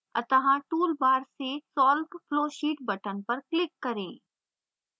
अतः tool bar से solve flowsheet button पर click करें